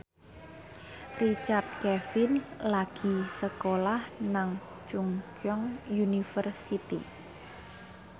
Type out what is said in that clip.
Richard Kevin lagi sekolah nang Chungceong University